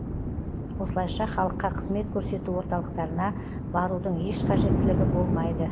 осылайша халыққа қызмет көрсету орталықтарына барудың еш қажеттілігі болмайды